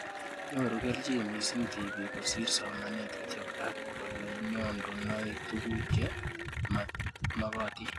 Nyoru kelchin mising' tipik kosir somanet kityo ak ole nyondunoi tuguk che magatin